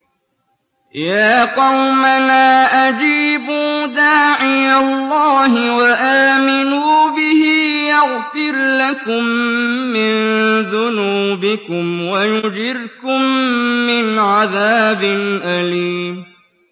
يَا قَوْمَنَا أَجِيبُوا دَاعِيَ اللَّهِ وَآمِنُوا بِهِ يَغْفِرْ لَكُم مِّن ذُنُوبِكُمْ وَيُجِرْكُم مِّنْ عَذَابٍ أَلِيمٍ